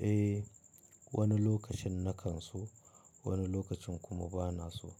Eh, wani lokacin na kan so, wani lokacin kuma ba na so.